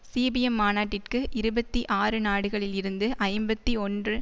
CPM மாநாட்டிற்கு இருபத்தி ஆறு நாடுகளில் இருந்து ஐம்பத்தி ஒன்று